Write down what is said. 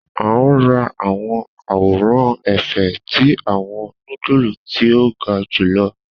A n ra awọn aworan efe ti awọn nudulu ti o ga julọ